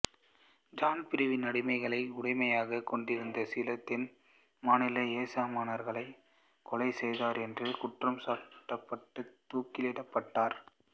John Brown அடிமைகளை உடைமையாகக் கொண்டிருந்த சில தென் மாநில எசமானர்களைக் கொலைசெய்தார் என்று குற்றம் சாட்டப்பட்டு தூக்கிலிடப்பட்டார்